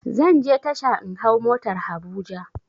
Zanje tasha in hau motar habuja